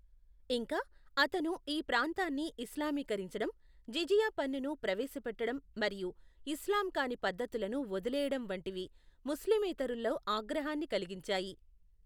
ఇంకా, అతను ఈ ప్రాంతాన్ని ఇస్లామీకరించడం, జిజియా పన్నును ప్రవేశపెట్టడం మరియు ఇస్లాం కాని పద్ధతులను వదిలేయడం వంటివి ముస్లిమేతరుల్లో ఆగ్రహాన్ని కలిగించాయి.